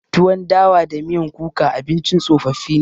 Tuwon dawa da miyan kuka abincin tsofaffi ne.